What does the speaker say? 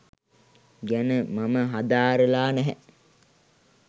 ගැන මම හදාරලා නැහැ.